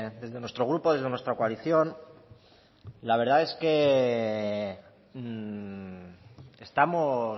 desde nuestro grupo desde nuestra coalición la verdad es que estamos